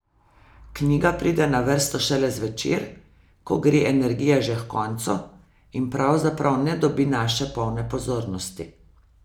Knjiga pride na vrsto šele zvečer, ko gre energija že h koncu, in pravzaprav ne dobi naše polne pozornosti.